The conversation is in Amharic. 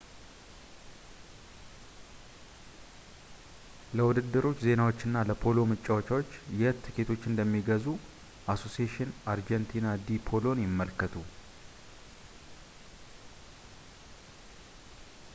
ለውድድሮች ዜናዎችና ለፖሎ ጨዋታዎች የት ትኬቶችን እንደሚገዙ አሶሴሽን አርጀንቲና ዲ ፖሎን ይመልከቱ